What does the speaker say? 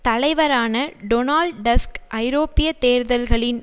தலைவரான Donald Tusk ஐரோப்பிய தேர்தல்களின்